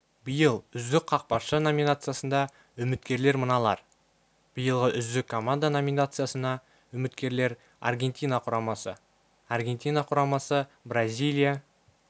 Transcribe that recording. биыл үздік қақпашы наминациясына үміткерлер мыналар биылғы үздік команда наминациясына үміткерлер аргентина құрамасы аргентина құрамасы бразилия